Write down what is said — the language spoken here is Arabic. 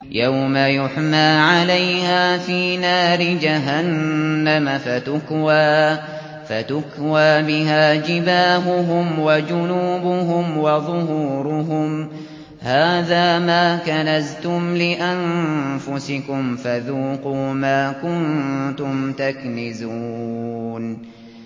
يَوْمَ يُحْمَىٰ عَلَيْهَا فِي نَارِ جَهَنَّمَ فَتُكْوَىٰ بِهَا جِبَاهُهُمْ وَجُنُوبُهُمْ وَظُهُورُهُمْ ۖ هَٰذَا مَا كَنَزْتُمْ لِأَنفُسِكُمْ فَذُوقُوا مَا كُنتُمْ تَكْنِزُونَ